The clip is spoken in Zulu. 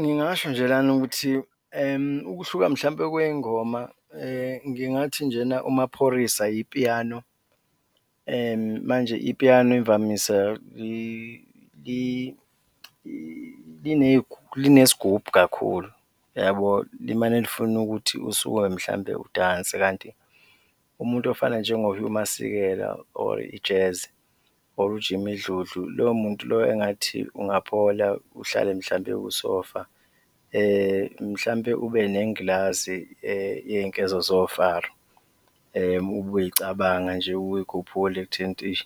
Ngingasho nje lana ukuthi ukuhluka mhlawumbe kwey'ngoma ngingathi njena uMaphorisa ipiyano manje ipiyano imvamisa linesigubhu kakhulu yabo, limane lifune ukuthi usukume mhlawumbe udanse kanti umuntu ofana njengo-Hugh Masekela or i-jazz or u-Jimmy Dludlu, loyo muntu loyo engathi ungaphola uhlale mhlawumbe kusofa, mhlawumbe ube nengilazi yey'nkezo zofaro ube uyicabanga nje uyikhuphule ekutheni ukuthi eish,